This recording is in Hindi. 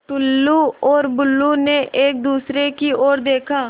टुल्लु और बुल्लु ने एक दूसरे की ओर देखा